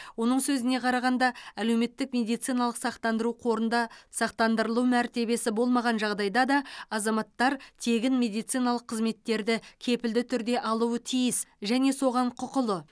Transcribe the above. оның сөзіне қарағанда әлеуметтік медициналық сақтандыру қорында сақтандырылу мәртебесі болмаған жағдайда да азаматтар тегін медициналық қызметтерді кепілді түрде алуы тиіс және соған құқылы